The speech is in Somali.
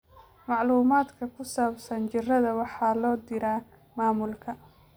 Macluumaadka ku saabsan jirrada waxaa loo diraa maamulka.